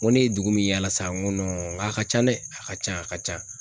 N ko ne ye dugu min yaala sa, n ko nk'a ka ca dɛ a ka ca a ka ca.